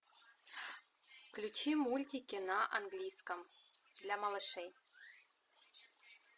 включи мультики на английском для малышей